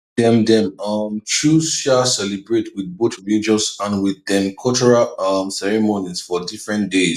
dem dem um chose um celebrate with both religious and with dem cultural um ceremonies for different days